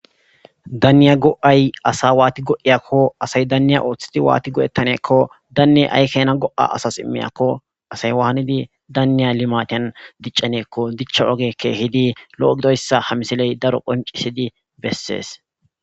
daaniya go7ay asa waati go7iyakko asay daniya ooththidi waati go7ettaneekko daanne ay keena go7a asas immiyakko asay waanidi danniya limatiyan diccaneekko dichcha oge keehidi lo7o gidoyssa ha misiley daro qoncisidi bessees